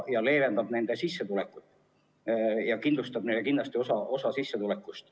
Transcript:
See leevendab nende sissetulekut ja kindlustab neile osa sissetulekust.